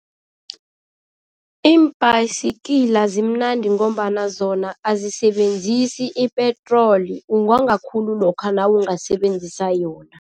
Iimbhayisikila zimnandi ngombana zona azisebenzisi ipetroli ungonga khulu lokha nawungasebenzisa yona.